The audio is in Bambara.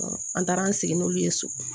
An taara an sigi n'olu ye so